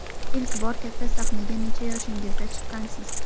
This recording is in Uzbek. Ilk bor katta sahnaga necha yoshingizda chiqqansiz?